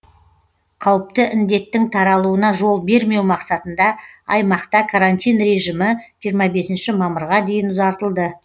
қауіпті індеттің таралуына жол бермеу мақсатында аймақта карантин режимі жиырма бесінші мамырға дейін ұзартылды